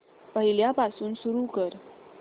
पहिल्यापासून सुरू कर